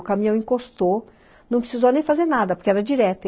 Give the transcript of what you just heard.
O caminhão encostou, não precisou nem fazer nada, porque era direto.